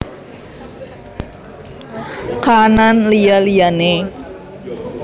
Kaanan Liya liyane